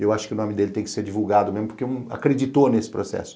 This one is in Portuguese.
Eu acho que o nome dele tem que ser divulgado mesmo, porque acreditou nesse processo.